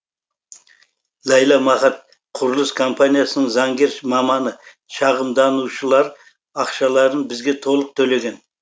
ләйла махат құрылыс компаниясының заңгер маманы шағымданушылар ақшаларын бізге толық төлеген